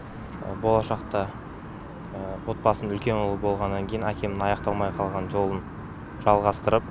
болашақта отбасының үлкен ұлы болғаннан кейін әкемнің аяқталмай қалған жолын жалғастырып